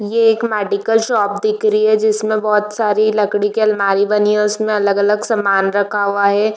ये एक medical shop दिख रही है जिसमे बहुत सारी लकड़ी के अलमारी बनी हुई है उसमे अलग-अलग समान बना हुआ है।